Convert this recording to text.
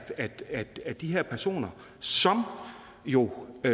de her personer som jo når